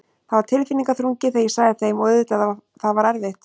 Það var tilfinningaþrungið þegar ég sagði þeim og auðvitað það var erfitt.